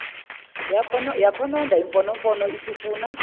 yakhononda imfonomfono isifuna